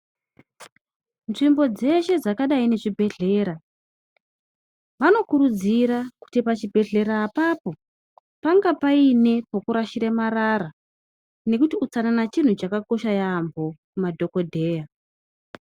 Nzvimbo dzeshe dzakadai nemuzvibhedhlera vanokurudzira kuti pachibhedhlera apapo pange Paine pekurashira marara nekuti xhipatara chinhu chakakosha yambo kumadhokodheya.